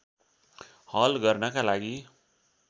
हल गर्नका लागि